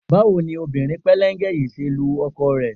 Báwo ni obìnrin pẹ́lẹ́ńgẹ yìí ṣe ń lu ọkọ rẹ?